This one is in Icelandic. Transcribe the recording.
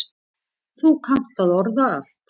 Þú kannt að orða allt.